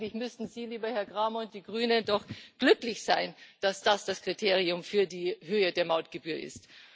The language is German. Also, eigentlich müssten Sie, lieber Herr Cramer, und die Grünen doch glücklich sein, dass das das Kriterium für die Höhe der Mautgebühr ist.